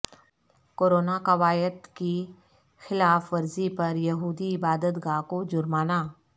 corona قواعد کی خلاف ورزی پر یہودی عبادتگاہ کو جرمانہ